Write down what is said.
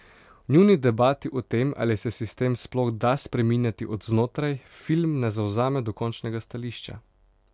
V njuni debati o tem, ali se sistem sploh da spreminjati od znotraj, film ne zavzame dokončnega stališča.